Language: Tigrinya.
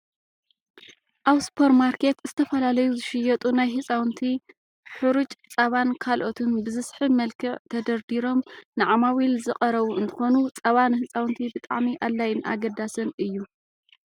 ኣብ ሱፐርማርኬት ዝተፈላለዩ ዝሽየጡ ናይ ህፃውንቲ ሑሩጭ ፃባን ካልኦትን ብዝስሕብ መልክዕ ተደርዲሮም ንዓማዊል ዝቀረቡ እንትኮኑ፣ ፃባ ንህፃውንቲ ብጣዕሚ ኣድላይን ኣገዳስን እዩ።